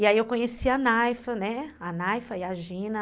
E aí eu conheci a Naifa, né, a Naifa e a Gina.